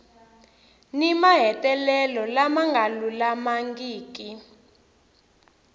ni mahetelelo lama nga lulamangiki